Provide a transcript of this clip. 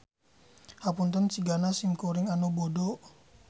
Hapunten sigana sim kuring anu bodo.